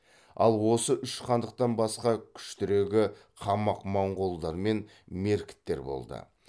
ал осы үш хандықтан басқа күштірегі қамақ моңғолдар мен меркіттер болды